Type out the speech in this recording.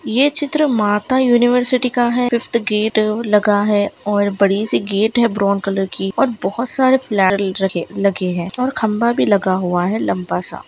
ये चित्र माता यूनिवर्सिटी का है फिफ्थ गेट और लगा है और बड़ी सी गेट है ब्राउन कलर की और बहुत सारे फ्लैट रखें लगे हैं और खंभा भी लगा हुआ है लम्बा सा।